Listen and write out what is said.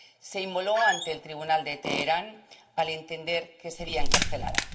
Se inmoló ante el tribunal de Teherán, al entender que sería encarcelada.